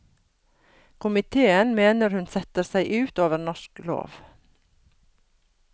Komitéen mener hun setter seg ut over norsk lov.